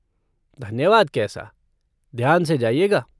धन्यवाद कैसा! ध्यान से जाइएगा।